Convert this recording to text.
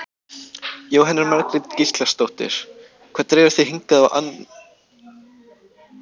Jóhanna Margrét Gísladóttir: Hvað dregur þig hingað á annan í jólum?